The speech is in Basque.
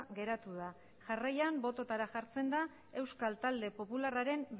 geratu da jarraian bototara jartzen da euskal talde popularraren